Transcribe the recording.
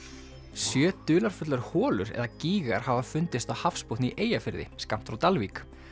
sjö dularfullar holur eða gígar hafa fundist á hafsbotni í Eyjafirði skammt frá Dalvík